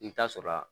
I bɛ taa sɔrɔ a